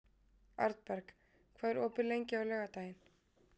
Arnberg, hvað er opið lengi á laugardaginn?